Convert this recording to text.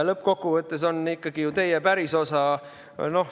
Lõppkokkuvõttes on see ikkagi ju teie pärisosa.